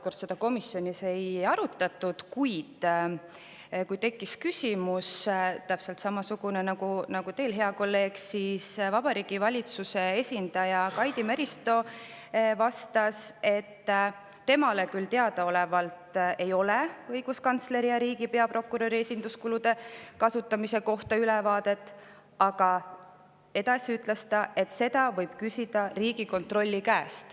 Kui küsiti täpselt samasugune küsimus, nagu teiegi, hea kolleeg, küsisite, siis vastas Vabariigi Valitsuse esindaja Kaidi Meristo, et temale teadaolevalt ei ole õiguskantsleri ja riigi peaprokuröri esinduskulude kasutamise kohta ülevaadet, aga, et seda võib küsida Riigikontrolli käest.